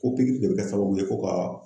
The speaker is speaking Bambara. Ko pikiri de bɛ kɛ sababu ye ko ka